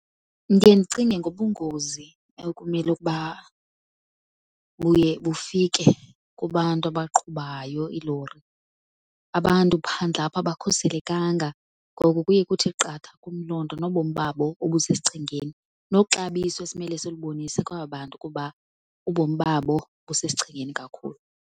Ndiye ndicinge ngobungozi ekumele ukuba buye bufike kubantu abaqhubayo iilori. Abantu phandle apha abakhuselekanga, ngoku kuye kuthi qatha kum loo nto nobomi babo obusesichengeni, noxabiso esimele silubonise kwaba bantu kuba ubomi babo busesichengeni kakhulu.